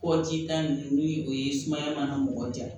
Kɔji ta nunnu ni o ye sumaya mana mɔgɔ janya